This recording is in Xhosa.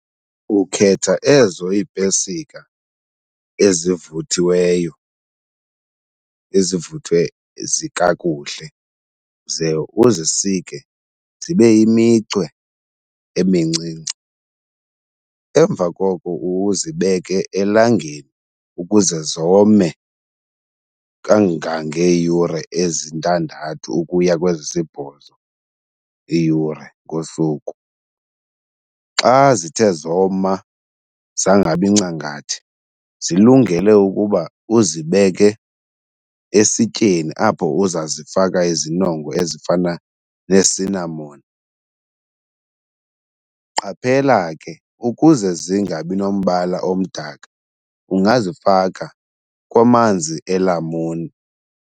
Ukhetha ezo iipesika ezivuthiweyo ezivuthwe kakuhle ze uzisike zibe yimicwe emincinci, emva koko uzibeke elangeni ukuze zome kangangee yure ezintandathu ukuya kwezisibhozo iiyure ngosuku. Xa zithe zoma zangabi ncangathi zilungele ukuba uzibeke esityeni apho uza zifaka izinongwe ezifana neesinamoni. Qaphela ke ukuze zingabi nombala omdaka ungazifaka kwamanzi elamuni.